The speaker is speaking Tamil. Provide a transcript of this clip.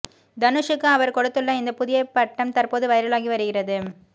தனுஷூக்கு அவர் கொடுத்துள்ள இந்த புதிய பட்டம் தற்போது வைரலாகி வருகிறது